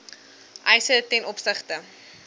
eise ten opsigte